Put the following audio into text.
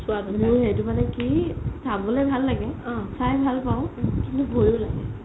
মোৰ সেইটো মানে কি চাবলৈ ভাল লাগে চাই ভাল পাও কিন্তু ভইও লাগে